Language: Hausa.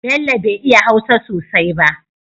Bello be iya hausa sosai ba